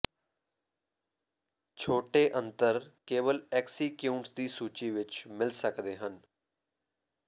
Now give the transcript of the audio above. ਛੋਟੇ ਅੰਤਰ ਕੇਵਲ ਐਕਸਸੀਕਿਊਂਟਸ ਦੀ ਸੂਚੀ ਵਿੱਚ ਮਿਲ ਸਕਦੇ ਹਨ